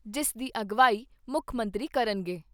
ਜਿਸ ਦੀ ਅਗਵਾਈ ਮੁੱਖ ਮੰਤਰੀ ਕਰਨਗੇ।